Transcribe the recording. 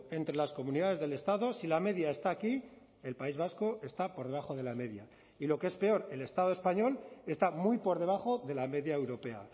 entre las comunidades del estado si la media está aquí el país vasco está por debajo de la media y lo que es peor el estado español está muy por debajo de la media europea